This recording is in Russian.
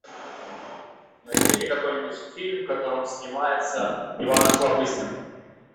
найди мне какой нибудь фильм в котором снимается иван охлобыстин